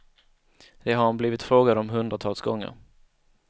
Det har han blivit frågad om hundratals gånger.